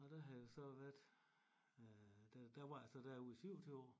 Og der havde jeg så været øh der der var jeg så derude i 27 år